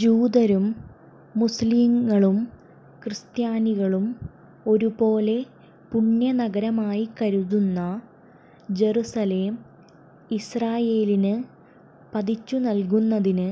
ജൂതരും മുസ്ളിങ്ങളും ക്രിസ്ത്യാനികളും ഒരുപോലെ പുണ്യനഗരമായി കരുതുന്ന ജറുസലേം ഇസ്രയേലിന് പതിച്ചുനല്കുന്നതിന്